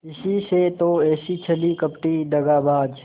इसी से तो ऐसी छली कपटी दगाबाज